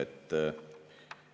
Aeg!